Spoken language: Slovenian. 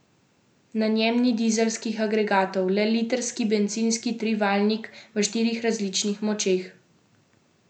Na njem ni dizelskih agregatov, le litrski bencinski trivaljnik v štirih različnih močeh.